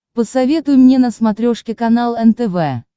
посоветуй мне на смотрешке канал нтв